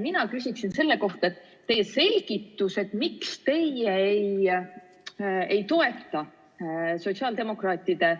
Mina küsin selle kohta, et teie selgitus, miks te ei toeta sotsiaaldemokraatide